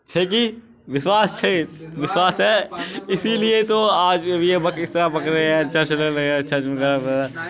छेगी विश्वास छे विश्वास है इसीलिए तो आज ये बक इस तरह बक रहें है वाइगैर